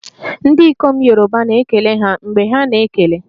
Ndị ikom Yoruba na-ekele ha mgbe ha na-ekele